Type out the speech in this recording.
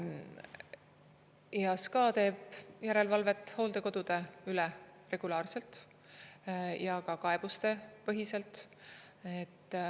Ja SKA teeb järelevalvet hooldekodude üle regulaarselt ja ka kaebustepõhiselt.